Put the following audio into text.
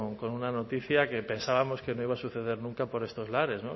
con una noticia que pensábamos que no iba a suceder nunca por estos lares